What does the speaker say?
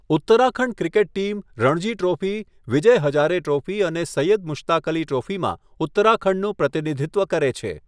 Uttarakhand cricket team Ranji trophy, Vijay Hazare trophy અને સૈયદ મુશ્તાક અલી ટ્રોફીમાં ઉત્તરાખંડનું પ્રતિનિધિત્વ કરે છે.